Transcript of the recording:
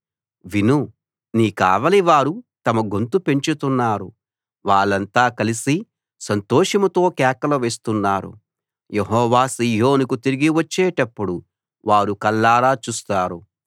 విను నీ కావలివారు తమ గొంతు పెంచుతున్నారు వాళ్ళంతా కలిసి సంతోషంతో కేకలు వేస్తున్నారు యెహోవా సీయోనుకు తిరిగి వచ్చేటప్పుడు వారు కళ్ళారా చూస్తారు